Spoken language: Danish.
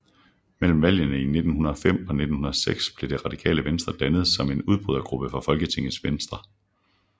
Mellem valgene i 1905 og 1906 blev Det Radikale Venstre dannet som en udbrydergruppe fra Folketingets Venstre